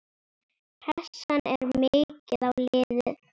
Pressan er mikil á liðið.